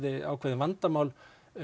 ákveðið vandamál